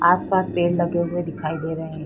आसपास पेड़ लगे हुए दिखाई दे रहे हैं।